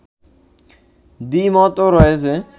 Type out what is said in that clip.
দ্বিমতও রয়েছে